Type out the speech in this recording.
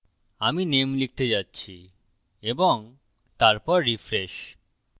আমি name লিখতে যাচ্ছি এবং তারপর refresh